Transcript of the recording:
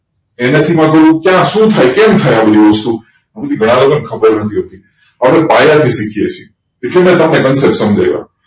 NSE માં કરું ક્યાં સુ થાય કેમ થાય આ બધું વસ્તુ આ બધી ઘણા લોકો ને ખબર નથી હોતી આપડે પાયા થી શીખીએ છીએ એટલે મેં તમને concept સમજાય વું